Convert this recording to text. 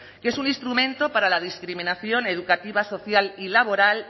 que es un instrumento para la discriminación educativa social y laboral